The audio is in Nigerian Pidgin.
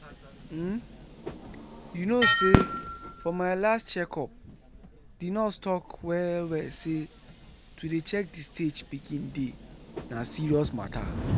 umyou know say for my last check up the nurse talk well well say to dey check the stage pikin dey na serious matter